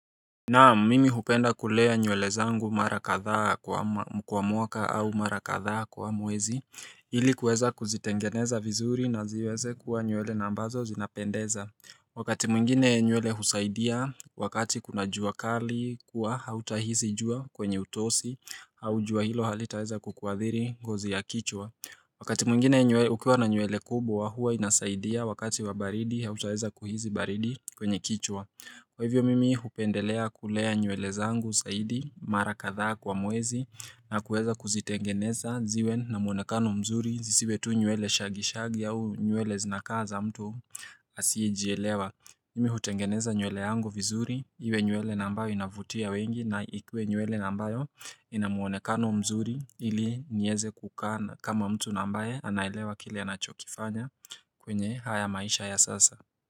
Naam mimi hupenda kulea nywele zangu mara kadhaa kwa mwaka au mara kadhaa kwa mwezi ili kuweza kuzitengeneza vizuri na ziweze kuwa nywele na ambazo zinapendeza Wakati mwingine nywele husaidia wakati kuna jua kali kuwa hautahizi jua kwenye utosi au jua hilo halitaeza kukuadhiri ngozi ya kichwa Wakati mwingine ukiwa na nywele kubwa huwa inasaidia wakati wa baridi hautaeza kuhizi baridi kwenye kichwa Kwa hivyo mimi hupendelea kulea nywele zangu zaidi mara kadhaa kwa mwezi na kuweza kuzitengeneza ziwe na muonekano mzuri zisiwe tu nywele shaggy shaggy au nywele zinakaa za mtu asiyejielewa mi hutengeneza nywele yangu vizuri iwe nywele na ambayo inavutia wengi na ikuwe nywele na ambayo ina muonekano mzuri ili nieze kukaa na kama mtu na ambaye anaelewa kile anachokifanya kwenye haya maisha ya sasa.